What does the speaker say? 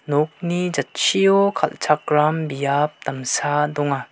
nokni jatchio kal·chakram biap damsa donga.